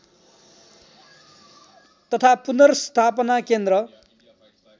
तथा पुनर्स्थापना केन्द्र